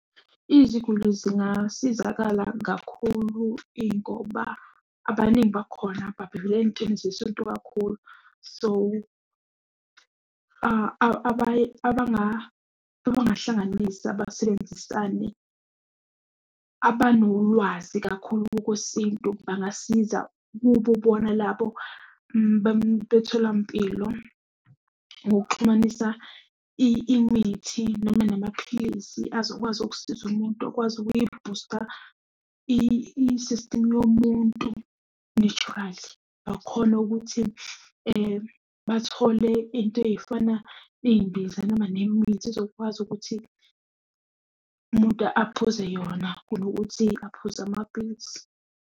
Iziguli zingasizakala kakhulu, ingoba abaningi bakhona babambelele ey'ntweni zesintu kakhulu. So, abangahlanganisa basebenzisane, abanolwazi kakhulu kokwesintu bangasiza kubo bona labo betholampilo. Ngokuxhumanisa imithi noma namaphilisi azokwazi ukusiza umuntu akwazi ukuyibhusta isistimu yomuntu naturally. Bakhone ukuthi bathole into ey'fana ney'mbiza noma nemithi izokwazi ukuthi umuntu aphuze yona, kunokuthi aphuze amaphilisi.